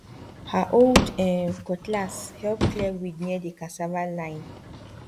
her old um cutlass help clear weed near the cassava line